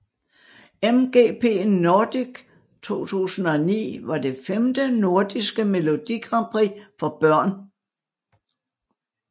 MGP Nordic 2009 var det femte nordiske Melodi Grand Prix for børn